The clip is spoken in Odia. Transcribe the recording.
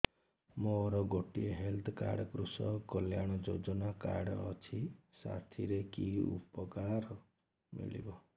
ମୋର ଗୋଟିଏ health card Krushak Kalyan Yojana card ଅଛି ସାଥିରେ କି ଉପକାର ମିଳିବ